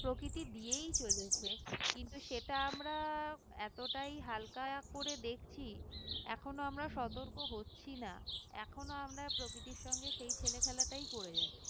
প্রকৃতি দিয়েই চলেছে কিন্তু সেটা আমরা এতটাই হালকায় আকরে দেখছি এখনো আমরা সতর্ক হচ্ছি না এখনো আমরা এই প্রকৃতির সঙ্গে সেই ছেলে খেলাটাই করে যাচ্ছি